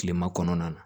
Kilema kɔnɔna na